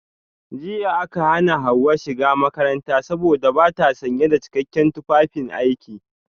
Jiya aka hana Hawa shiga makarantar saboda bata sanye da cikakken tufafin aiki